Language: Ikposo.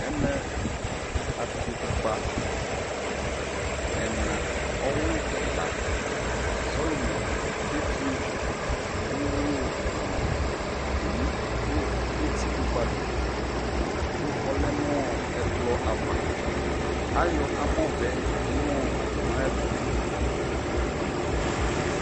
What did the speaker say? Ɛmɛ abiɖʒo kukpa ɛnaa ɔwulu ɛɛla salomo kefio wuyuwuyu nɔɔ abomu du etikukpali ku ɔlɛɛ nɔɔ ɛkplɔ ava ayɔɔ amɔvɛ twee nuu abomu ayɛtu